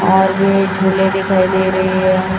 और ये झूले दिखाई दे रही है।